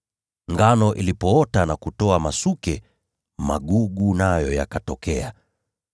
Ngano ilipoota na kutoa masuke, magugu nayo yakatokea.